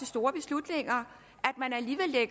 store beslutninger